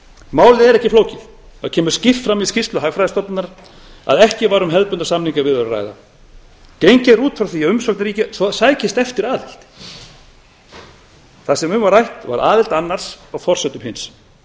málið er ekki flókið það kemur skýrt fram í skýrslu hagfræðistofnunar að ekki var um hefðbundnar samningaviðræður að ræða gengið er út frá því að umsóknarríki sækist eftir aðild það sem um var rætt var aðild annars á forsendum hins